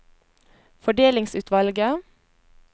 fordelingsutvalget